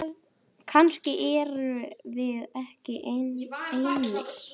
Kannski erum við ekki einar.